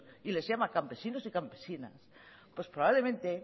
y les llama campesinos y campesinas pues probablemente